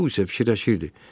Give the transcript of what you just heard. Tao isə fikirləşirdi.